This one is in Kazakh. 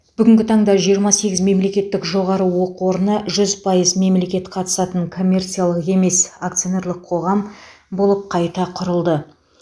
бүгінгі таңда жиырма сегіз мемлекеттік жоғары оқу орны жүз пайыз мемлекет қатысатын коммерциялық емес акционерлік қоғам болып қайта құрылды